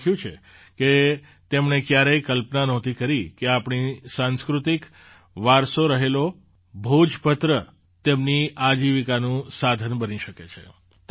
તેમણે લખ્યું છે કે તેમણે ક્યારેય કલ્પના નહોતી કરી કે આપણી સાંસ્કૃતિક વારસો રહેલો ભોજપત્ર તેમની આજીવિકાનું સાધન બની શકે છે